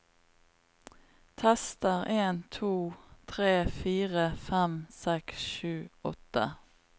Tester en to tre fire fem seks sju åtte